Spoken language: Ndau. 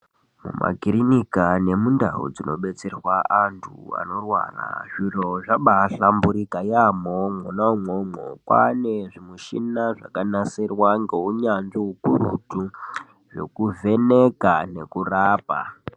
Mumakirinika nemundau dzinobeterwa antu vanorwara zviro zvabahlamburika yaamho mwona imwomwo. Kwame zvimichina zvakanasirwa ngeunyanzvi hukurutu zvekuvheneka nekurapa.